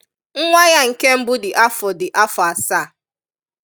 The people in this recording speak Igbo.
Nwa ya nke mbụ dị afọ dị afọ àsaa.